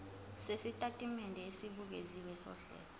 sesitatimende esibukeziwe sohlelo